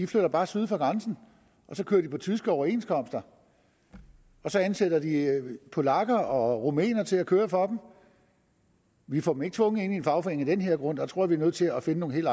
flytter bare syd for grænsen og så kører de på tyske overenskomster og så ansætter de polakker og rumænere til at køre for dem vi får ikke tvunget dem ind i en fagforening af den her grund der tror jeg at vi er nødt til at finde nogle helt